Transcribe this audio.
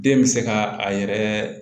Den bɛ se ka a yɛrɛ